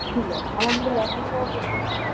ছিল আলহামদুলিল্লা এখন তো তাও একটু ভালো।